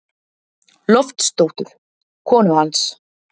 Loftsdóttur, konu hans.